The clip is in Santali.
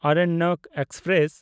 ᱟᱨᱚᱱᱱᱚᱠ ᱮᱠᱥᱯᱨᱮᱥ